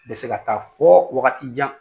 Bɛ se ka taa fɔ wagati jan!